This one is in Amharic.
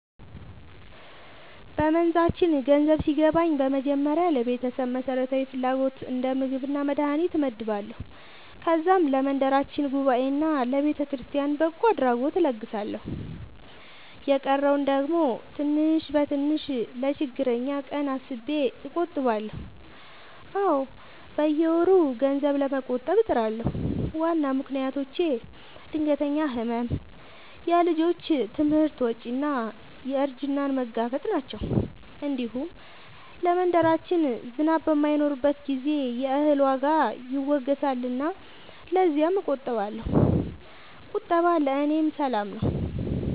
በመንዛችን ገንዘብ ሲገባኝ በመጀመሪያ ለቤተሰብ መሠረታዊ ፍላጎት እንደ ምግብና መድሀኒት እመድባለሁ። ከዛም ለመንደራችን ጉባኤና ለቤተክርስቲያን በጎ አድራጎት እለግሳለሁ። የቀረውን ደግሞ ትንሽ በትንሽ ለችግረኛ ቀን አስቤ እቆጥባለሁ። አዎ፣ በየወሩ ገንዘብ ለመቆጠብ እጥራለሁ። ዋና ምክንያቶቼ ድንገተኛ ሕመም፣ የልጆች ትምህርት ወጪ እና እርጅናን መጋፈጥ ናቸው። እንዲሁም ለመንደራችን ዝናብ በማይኖርበት ጊዜ የእህል ዋጋ ይወገሳልና ለዚያም እቆጥባለሁ። ቁጠባ ለእኔ ሰላም ነው።